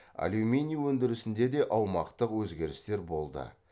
алюминий өндірісінде де аумақтық өзгерістер болды